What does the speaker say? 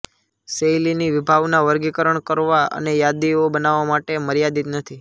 શૈલીની વિભાવના વર્ગીકરણ કરવા અને યાદીઓ બનાવવા માટે મર્યાદિત નથી